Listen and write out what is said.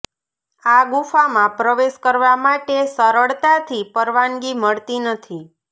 આ ગુફામાં પ્રવેશ કરવા માટે સરળતાથી પરવાનગી મળતી નથી